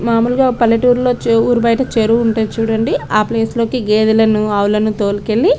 మాములుగా ఒక పల్లెటూర్లో చె ఊరు బైట చెరువు ఉంటుంది చుడండి ఆ ప్లేసులోకి గేదలను ఆవులన్ను తోలుకెళ్ళి --